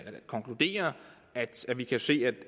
konkludere at vi kan se at